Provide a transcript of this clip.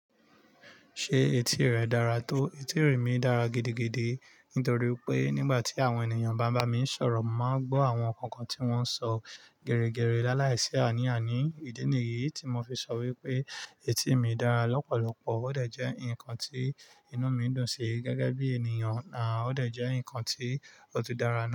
Ṣé etí rẹ dára tó? Etí mí dára gidigidi nítorí pé nígbà tí àwọn ènìyàn bá ń bá mi sọ̀rọ̀, mo máa ń gbọ́ àwọn nkankan tí wọ́n ń sọ geregere láláìsí àní àní. Ìdí nìyí tí mo fi sọ wípé etí mi dára lọ́pọ̀lọpọ̀ ó dẹ̀ ǹkan tí inú mi dùn sí gẹ́gẹ́ bí ènìyàn, ó dẹ̀ jẹ́ ǹkan tí ó tún dára náà.